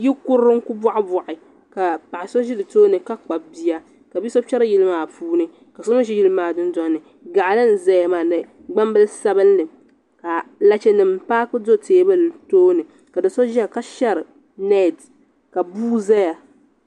Yilikurili n ku bɔhibɔhi ka paɣa so ʒi di tooni ka kpabi bia ka bi so kpɛri yili maa puuni ka so mi ʒi yili maa dundoli ni gaɣali n zaya maa ni gbambili sabinli ka lachenima paaki do teebuli tooni ka do so ʒiya ka shari neeti ka bua zaya.